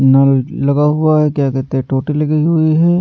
नल लगा हुआ है क्या कहते हैं टोटी लगी हुई है।